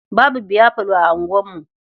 Babu biyafalo a unguwarmu.